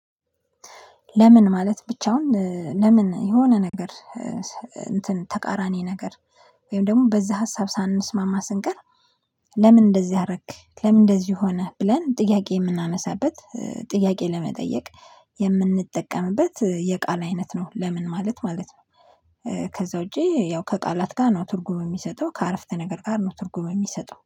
ለምን ማለት ብቻውን ለምን የሆነ ነገር እንትን ተቃራኒ ነገር ወይም ደግሞ በዛ ሀሳብ ሳንስማማ ስንቀር። ለምን እንደዚህ አረክ ለምን እንደዚህ ሆነህ ብለን ጥያቄ የምናነሳበት ጥያቄ ለመጠየቅ የምንጠቀምበት የቃል አይነት ነው ለምን ማለት ማለት ነው። ከዛ ውጪ ያው ከቃላት ጋር ነው ትርጉም የሚሰጠው ከአረፍተ ነገር ጋር ነው ትርጉም የሚሰጠው